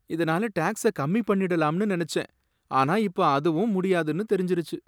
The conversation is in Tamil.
இதனால டாக்ஸ கம்மி பண்ணிடலாம்னு நனைச்சேன், ஆனா இப்ப அதுவும் முடியாதுன்னு தெரிஞ்சுருச்சு.